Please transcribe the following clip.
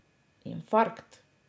Infarkt.